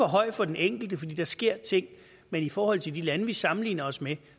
høj for den enkelte fordi der sker ting men i forhold til de lande vi sammenligner os med